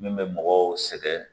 Min bɛ mɔgɔw sɛgɛn